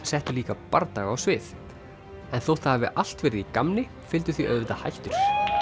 settu líka bardaga á svið en þótt það hafi allt verið í gamni fylgdu því auðvitað hættur